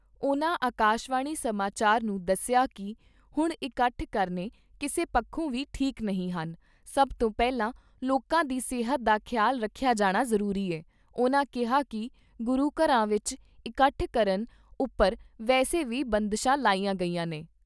ਉਨ੍ਹਾਂ ਆਕਾਸ਼ਵਾਣੀ ਸਮਾਚਾਰ ਨੂੰ ਦੱਸਿਆ ਕਿ ਹੁਣ ਇਕੱਠ ਕਰਨੇ ਕਿਸੇ ਪੱਖੋਂ ਵੀ ਠੀਕ ਨਹੀਂ ਹਨ ਸਭ ਤੋਂ ਪਹਿਲਾਂ ਲੋਕਾਂ ਦੀ ਸਿਹਤ ਦਾ ਖਿਆਲ ਰੱਖਿਆ ਜਾਣਾ ਜ਼ਰੂਰੀ ਐ, ਉਨ੍ਹਾਂ ਕਿਹਾ ਕਿ ਗੁਰੂ ਘਰਾਂ ਵਿੱਚ ਇਕੱਠ ਕਰਨ ਉਪਰ ਵੈਸੇ ਵੀ ਬੰਦਸ਼ਾਂ ਲਾਈਆਂ ਗਈਆਂ ਨੇ।